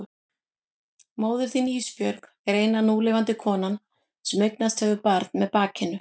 Móðir þín Ísbjörg er eina núlifandi konan sem eignast hefur barn með bakinu.